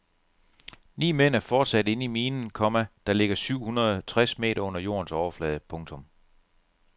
Ni mænd er fortsat inde i minen, komma der ligger syv hundrede tres meter under jordens overflade. punktum